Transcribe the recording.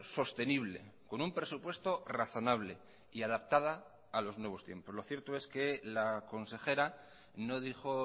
sostenible con un presupuesto razonable y adaptada a los nuevos tiempos lo cierto es que la consejera no dijo